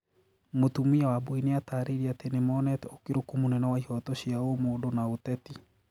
Mũtumia wambui nĩ atarĩirie atĩ nimonete ũkĩrũku mũnene wa ihoto cia ũmũndũ na ũteti